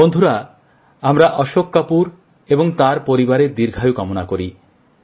বন্ধুরা আমরা অশোকবাবু এবং তাঁর পরিবারের দীর্ঘায়ু কামনা করি